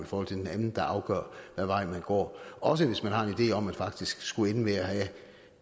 forhold til den anden der afgør hvad vej man går også hvis man har en idé om at man faktisk skulle ende med at have